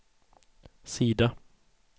sida